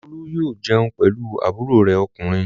Olú yóò jẹun pẹ̀lú àbúrò rẹ̀ ọkùnrin.